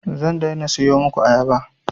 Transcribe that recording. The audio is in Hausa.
Zan daina siyo muku ayaba